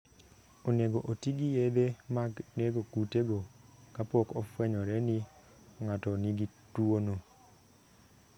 Onego oti gi yedhe mag nego kutego kapok ofwenyore ni ng'ato nigi tuwono.